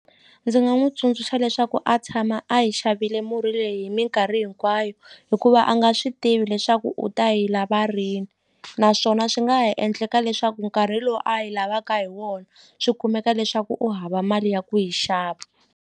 Ndzi nga n'wi tsundzuxa leswaku a tshama a yi xavile murhi leyi hi minkarhi hinkwayo hikuva a nga swi tivi leswaku u ta yi lava rini naswona swi nga ha endleka leswaku nkarhi lowu a yi lavaka hi wona swi kumeka leswaku u hava mali ya ku yi xava.